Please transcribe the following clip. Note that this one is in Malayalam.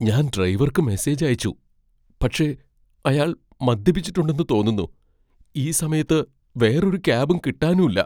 ഞാൻ ഡ്രൈവർക്ക് മെസേജ് അയച്ചു, പക്ഷേ അയാൾ മദ്യപിച്ചിട്ടുണ്ടെന്ന് തോന്നുന്നു, ഈ സമയത്ത് വേറൊരു ക്യാബും കിട്ടാനുല്ല .